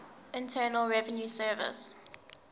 internal revenue service